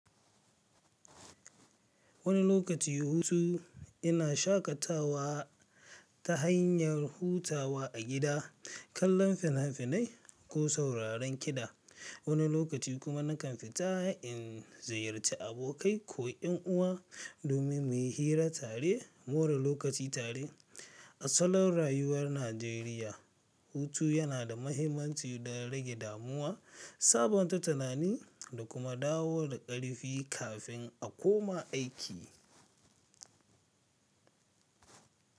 Wani lokaci hutu yana shaƙatawa ta hanyar hutawa a gida, kallon fina-finai ko sauraron kiɗa, wani lokaci kuma nakan fita in ziyarci abokai ko 'yan uwa domin mu yi hira tare more lokaci tare. A salon rayuwar Najeriya, hutu yana da mahimmanci don rage damuwa, sabunta tunani da kuma dawo da ƙarfi kafin a koma aiki.